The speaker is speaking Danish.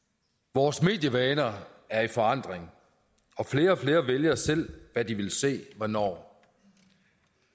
vores medievaner er i forandring og flere og flere vælger selv hvad de vil se hvornår